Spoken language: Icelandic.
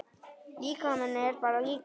Líkami er bara líkami.